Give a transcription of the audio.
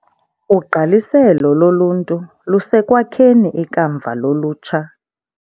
Ugqaliselo loluntu lusekwakheni ikamva lolutsha.